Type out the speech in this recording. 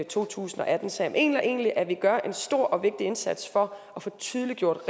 to tusind og atten så jeg mener egentlig at vi gør en stor og vigtig indsats for at få tydeliggjort